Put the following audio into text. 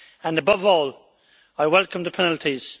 Above all, I welcome the penalties.